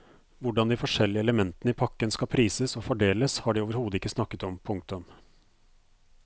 Hvordan de forskjellige elementene i pakken skal prises og fordeles har de overhodet ikke snakket om. punktum